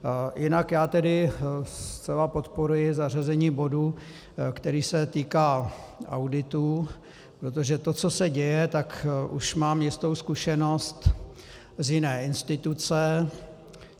Jinak já tedy zcela podporuji zařazení bodu, který se týká auditů, protože to, co se děje, tak už mám jistou zkušenost z jiné instituce.